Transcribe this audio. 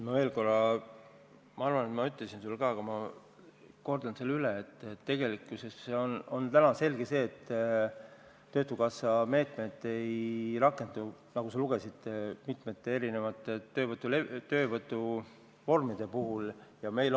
Ma kordan veel kord üle, et tegelikkuses on täna selge, et töötukassa meetmed, nagu sa lugesid, mitmete töövõtuvormide puhul ei rakendu.